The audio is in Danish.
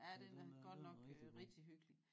Ja den er den er rigtig god